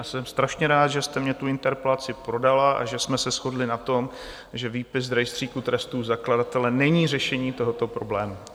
A jsem strašně rád, že jste mně tu interpelaci podala a že jsme se shodli na tom, že výpis z rejstříku trestů zakladatele není řešení tohoto problému.